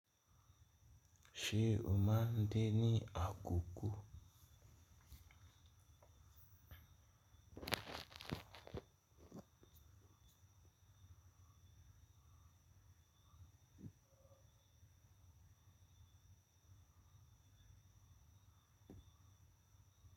Ṣé o máa ń de ní àkókò?